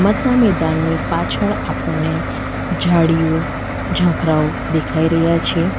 રમતના મેદાનની પાછળ આપણને ઝાડીઓ ઝાખરાઓ દેખાઈ રહ્યા છે.